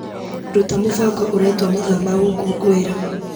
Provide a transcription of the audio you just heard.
Ruta mũbango ũretwo mathaa ma gũkũngũĩra.